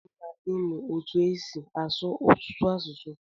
Ọdi mma ịmụ etu esi asụ ọtụtụ asụsụ.